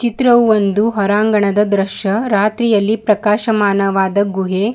ಚಿತ್ರವು ಒಂದು ಹೊರಾಂಗಣದ ದೃಶ್ಯ ರಾತ್ರಿಯಲ್ಲಿ ಪ್ರಕಾಶಮಾನವಾದ ಗುಹೆ.